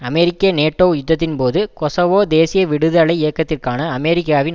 அமெரிக்க NATO யுத்தத்தின்போது Kosovo தேசிய விடுதலை இயக்கத்திற்கான அமெரிக்காவின்